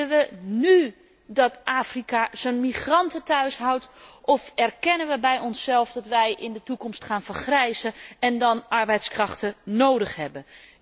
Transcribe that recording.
Willen we nú dat Afrika zijn migranten thuis houdt, of erkennen we bij onszelf dat wij in de toekomst gaan vergrijzen en dan arbeidskrachten nodig hebben?